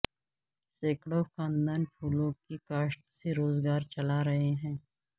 سینکڑوں خاندان پھولوں کی کاشت سے روزگار چلا رہے ہیں